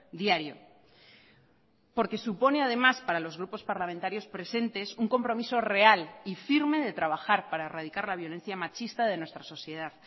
diario porque supone además para los grupos parlamentarios presentes un compromiso real y firme de trabajar para erradicar la violencia machista de nuestra sociedad